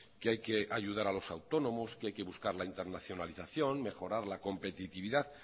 que hay que ayudar a los autónomos que hay que buscar la internacionalización mejorar la competitividad